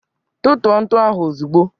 Tutuo ntụ ahụ ozugbo